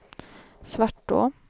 Svartå